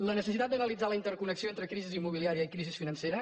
la necessitat d’analitzar la interconnexió entre crisi immobiliària i crisi financera